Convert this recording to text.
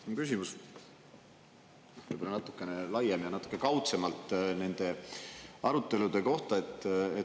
Mu küsimus on võib-olla natukene laiem ja natuke kaudsemalt nende arutelude kohta.